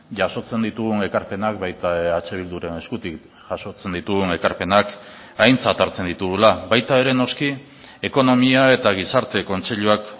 jasotzen ditugun ekarpenak baita eh bilduren eskutik jasotzen ditugun ekarpenak aintzat hartzen ditugula baita ere noski ekonomia eta gizarte kontseiluak